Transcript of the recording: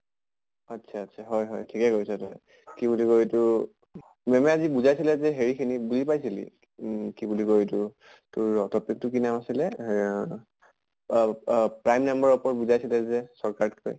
আত্চ্ছা আত্চ্ছা ঠিকে কৰিছʼ তই। কি বুলি কয় এইটো ma'am য়ে আজি বুজাইছিলে যে হেৰি খিনি বুজি পাইছিলি? উম কি বুলি কয় এইটো তোৰ topic টো কি নাম আছিলে অহ অব অব prime number ৰৰ পৰা বুজাইছিলে যে short cut কে